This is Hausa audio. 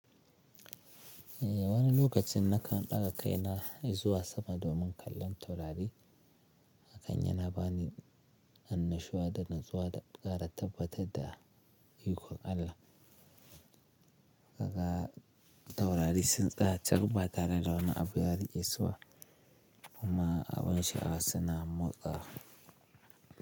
Eh, wani lokacin nakan ɗaga kaina i zuwa sama domin kallon taurari, hakan yana bani annashuwa da natsuwa da ƙara tabbatar da ikon Allah. Kaga taurari sun tsaya cak ba tare da wani abu ya riƙe su ba, kuma abun sha'awa su na motsawa.